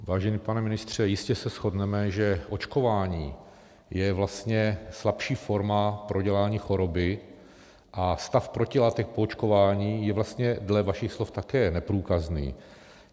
Vážený pane ministře, jistě se shodneme, že očkování je vlastně slabší forma prodělání choroby a stav protilátek po očkování je vlastně dle vašich slov také neprůkazný.